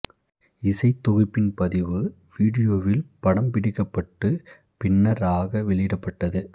இசைத் தொகுப்பின் பதிவு வீடியோவில் படம்பிடிக்கப்பட்டு பின்னர் ஆக வெளியிடப்பட்டது